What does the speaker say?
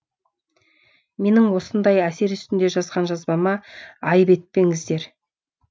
менің осындай әсер үстінде жазған жазбама айып етпеңіздер